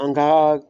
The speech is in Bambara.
An ka